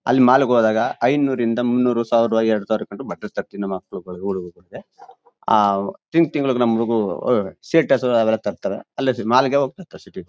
ಅಲ್ಲಿ ಮಾಲ್ ಗೆ ಹೋದಾಗ ಐನೂರರಿಂದ ಮುನ್ನೂರು ಸಾವಿರ ಎರಡು ಸಾವಿರ ಕಂಡ್ರೆ ಬಟ್ಟೆ ತರ್ತೀನಿ ನಮ ಮಕ್ಳುಗಳಿಗೆ ಊರಿಗೆ ಹೋಗಕ್ಕೆ. ಆಹ್ ತಿಂಗ್ಳು ತಿಂಗ್ಳುಗೆ ನಮ್ ಹುಡುಗ್ರು ಸೆಟರ್ಸ್ ಅವೆಲ್ಲ ತರ್ತಾರೆ. ಅಲ್ಲೇ ಮಾಲ್ ಗೆ ಹೋಗ್ ತರ್ತಾರೆ ಸಿಟಿ ಗು--